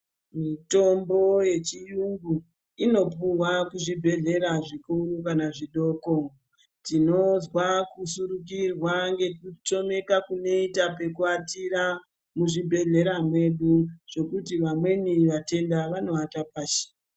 Mitombo yechiyungu inopuwa kuzvibhedhleya zvikuru kana zvidoko, tinozwa kushurukirwa ngekutamika kunoita pekuata muzvibhedhleya mwedu zvekuti vamweni vatenda vanoata pashi.